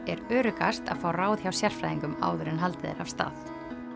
er öruggast að fá ráð hjá sérfræðingum áður en haldið er af stað